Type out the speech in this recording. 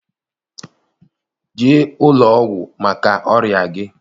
Jee ụlọọgwụ maka ọrịa gị!